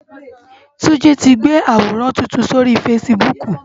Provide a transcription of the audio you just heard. Tunji ti gbé àwórán tútún sóri fásibúk